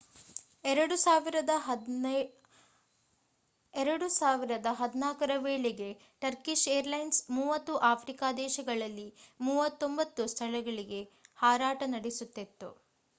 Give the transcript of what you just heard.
2014 ರ ವೇಳೆಗೆ Turkish airlines 30 Africa ದೇಶಗಳಲ್ಲಿ 39 ಸ್ಥಳಗಳಿಗೆ ಹಾರಾಟ ನಡೆಸುತ್ತಿತ್ತು